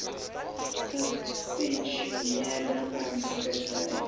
gepensioeneerde aansoekers dui